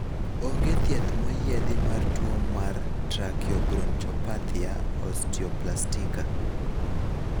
onge thieth moyiedhi mar tuo mar trakiobronchopathia osteoplastika